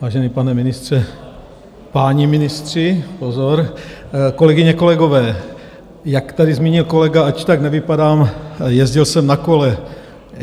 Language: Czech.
Vážený pane ministře, páni ministři, pozor, kolegyně, kolegové, jak tady zmínil kolega, "ač tak nevypadám, jezdil jsem na kole".